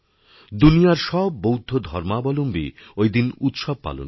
দুনিয়ার সব বৌদ্ধধর্মাবলম্বী ওইদিন উৎসব পালন করেন